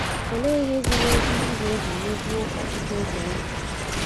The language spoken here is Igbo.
Olee ihe ziri ezi ị ga - eji mejuo ọchụchọ obi ahụ?